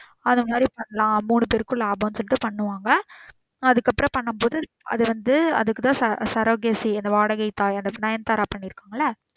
அது மாறி பண்ணலாம். மூணு பேருக்கும் லாபம் சொல்லிட்டு பண்ணுவாங்க அதுக்கு அப்பறம் பண்ணும் போது அது வந்து அதுக்கு தான் surrogate அந்த வாடகை தாய் அந்த நயன்தாரா பன்னிருகாங்கள